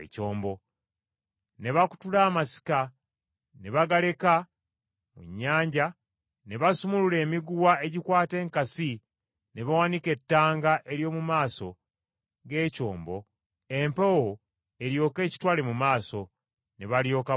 Ne bakutula ennanga, ne bazireka mu nnyanja, ne basumulula emiguwa egikwata enkasi ne bawanika ettanga ery’omu maaso g’ekyombo empewo eryoke ekitwale mu maaso, ne balyoka boolekera olukalu.